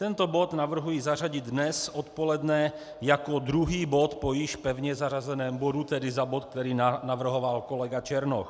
Tento bod navrhuji zařadit dnes odpoledne jako druhý bod po již pevně zařazeném bodu, tedy za bod, který navrhoval kolega Černoch.